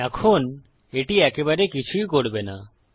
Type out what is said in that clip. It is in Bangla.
এখন এটি একেবারে কিছু করবে না